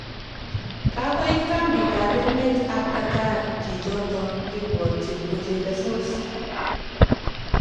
Kagoit kambitab emet ab Qatar chichoto kebwatin ko chelesos.